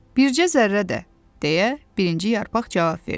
Bircə zərrə də, deyə birinci yarpaq cavab verdi.